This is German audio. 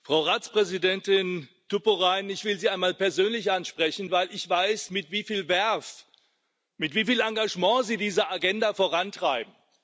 Frau Ratspräsidentin Tuppurainen, ich will Sie einmal persönlich ansprechen, weil ich weiß, mit wie viel Verve, mit wie viel Engagement Sie diese Agenda vorantreiben.